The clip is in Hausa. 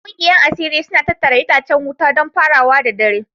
Yan kungiyar asiri suna tattara itacen wuta don farawa da dare